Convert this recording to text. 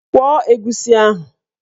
Kwọọ egusi ahụ!